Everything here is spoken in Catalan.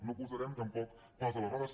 no posarem tampoc pals a les rodes